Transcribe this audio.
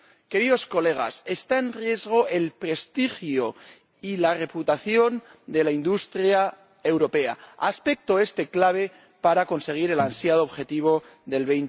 Queridos colegas, están en riesgo el prestigio y la reputación de la industria europea, aspecto este clave para conseguir el ansiado objetivo del